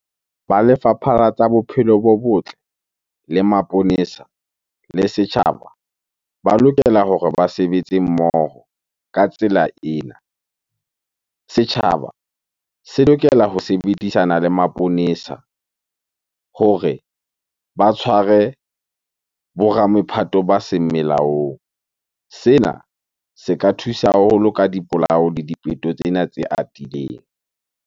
Ba lefapha la tsa bophelo bo botle, le maponesa le setjhaba ba lokela hore ba sebetse mmoho ka tsela ena. Setjhaba se lokela ho sebedisana le maponesa hore ba tshware bo ramephatho ba seng melaong. Sena se ka thusa haholo ka dipolao le dipeto tsena tse atileng.